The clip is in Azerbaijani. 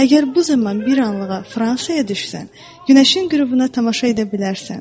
Əgər bu zaman bir anlıq Ağ Fransağa düşsən, günəşin qürubuna tamaşa edə bilərsən.